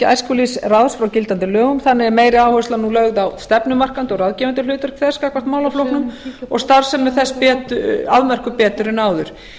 æskulýðsráðs frá gildandi lögum þannig er meiri áhersla nú lögð á stefnumarkandi og ráðgefandi hlutverk þess gagnvart málaflokknum og starfsemi þess afmörkuð betur en áður